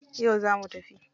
Yau zamu tafi.